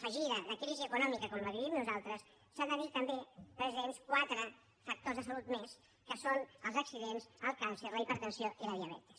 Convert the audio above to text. afegida de crisi econòmica com la que vivim nosaltres s’han de tenir també presents quatre factors de salut més que són els accidents el càncer la hipertensió i la diabetis